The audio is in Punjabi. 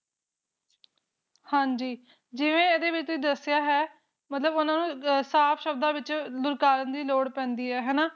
ਹਨ ਜੀ ਜਿਵੇਂ ਇਸ ਵਿਚ ਦੱਸਿਆ ਹੈ ਕ ਮਤਲਬ ਉਨ੍ਹਾਂ ਨੂੰ ਸਾਫ ਸ਼ਬਦਾਂ ਵਿਚ ਧੂੜਕਾਰਾਂ ਦੀ ਲੋੜ ਪੈਂਦੀ ਹੈ ਨਾ